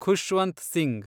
Khushwant Singh